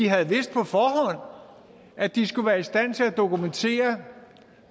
havde vidst at de skulle være i stand til at dokumentere